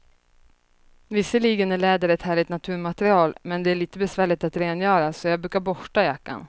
Visserligen är läder ett härligt naturmaterial, men det är lite besvärligt att rengöra, så jag brukar borsta jackan.